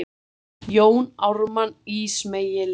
Jón Ármann ísmeygilega.